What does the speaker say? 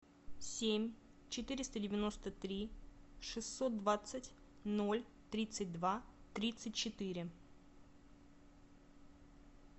семь четыреста девяносто три шестьсот двадцать ноль тридцать два тридцать четыре